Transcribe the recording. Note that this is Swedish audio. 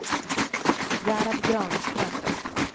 Gerhard Granström